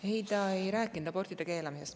Ei, ta ei rääkinud abortide keelamisest.